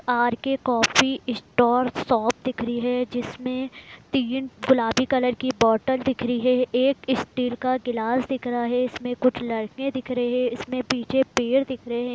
R K. Coffee stall shop दिख रही है जिसमें तीन गुलाबी कलर की बोतल दिख रही है एक स्टील का गिलास दिख रहा है इसमें कुछ लड़के दिख रहे हैं इसमें पीछे पेड़ दिख रहे है।